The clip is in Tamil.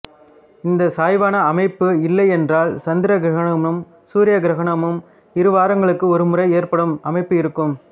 இந்தச் சாய்வான அமைப்பு இல்லையென்றால் சந்திர கிரகணமும் சூரிய கிரகணமும் இருவாரங்களுக்கு ஒருமுறை ஏற்படும் அமைப்பு இருக்கும்